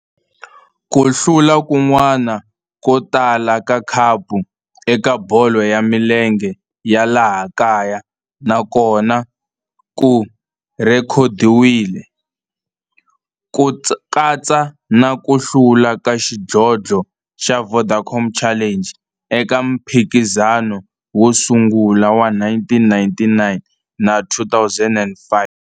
Ku hlula kun'wana ko tala ka khapu eka bolo ya milenge ya laha kaya na kona ku rhekhodiwile, ku katsa na ku hlula ka xidlodlo xa Vodacom Challenge eka mphikizano wo sungula wa 1999 na 2005.